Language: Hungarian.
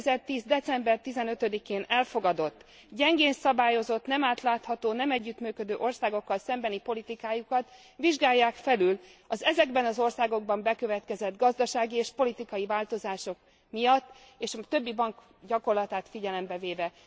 2010. december 15 én elfogadott, gyengén szabályozott, nem átlátható, nem együttműködő országokkal szembeni politikájukat vizsgálják felül az ezekben az országokban bekövetkezett gazdasági és politikai változások miatt és a többi bank gyakorlatát figyelembe véve.